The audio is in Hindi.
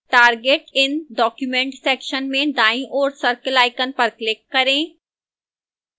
target in document section में दाईं ओर circle icon पर click करें